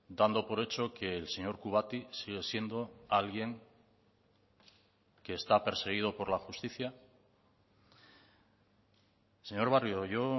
dando por hecho que el señor kubati sigue siendo alguien que está perseguido por la justicia señor barrio yo